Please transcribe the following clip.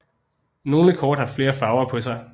Nogle kort har flere farver på sig